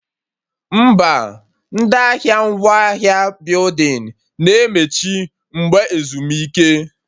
Mba, ndị ahịa ngwaahịa building na-emechi mgbe ezumike